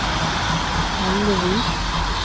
Hellevik